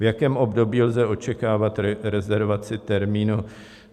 V jakém období lze očekávat rezervaci termínu?